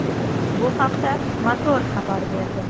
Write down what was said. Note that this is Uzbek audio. Bu haqda ”Motor” xabar berdi .